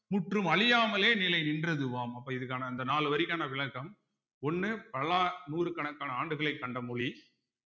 முற்றும் அழியாமலே நிலை நின்றதுவாம் அப்ப இதுக்கான அந்த நாலு வரிக்கான விளக்கம் ஒண்ணு பல்லா நூற்றுக்கணக்கான ஆண்டுகளைக் கண்ட மொழி